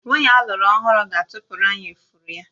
Nwunye alụru ọhụrụ ga-atụpụrụ anyị ifuru ya